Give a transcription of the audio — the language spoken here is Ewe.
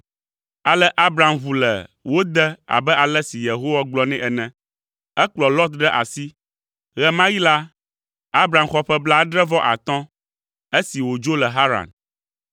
Ale Abram ʋu le wo de abe ale si Yehowa gblɔ nɛ ene. Ekplɔ Lot ɖe asi. Ɣe ma ɣi la, Abram xɔ ƒe blaadre-vɔ-atɔ̃ esi wòdzo le Haran.